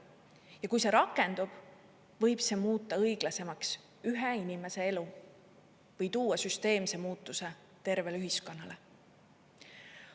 Ja kui see rakendub, võib see muuta õiglasemaks ühe inimese elu või tuua süsteemse muutuse tervele ühiskonnale.